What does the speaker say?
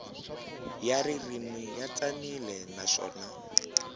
ya ririmi ya tsanile naswona